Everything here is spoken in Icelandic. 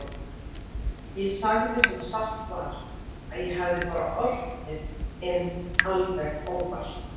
Ég sagði sem satt var að ég hefði bara oltið inn alveg óvart.